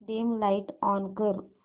dim light on कर